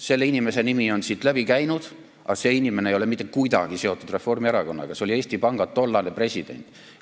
Selle inimese nimi on siit läbi käinud, aga see inimene ei ole mitte kuidagi seotud Reformierakonnaga, see oli Eesti Panga tollane president.